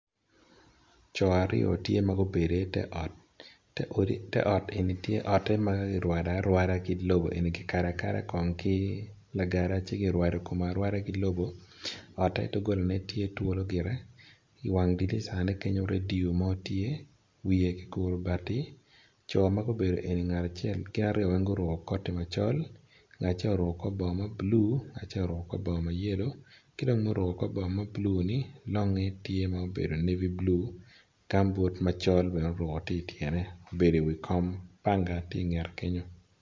Coo aryo tye magubedo i ter ot ot eni magirwado arwada ki lobo kikado akado kongo ki lagede ci kiwado arwada gi lobo otte dogola ne tye twolo gire I wang dirisa ne kenyo radio tye wiye giguro bati coo magubedo eni gin aryo weng guruko koti macol ngat acel oruko kor bongo mablue ngat acel oruko kor bongo mayellow kidong ma oruko kor bongo mablue ni longge tye ma obedo navy blue gambut macol bene tye oruko ityene obedo i wi kom panga tye i ngete kenyo.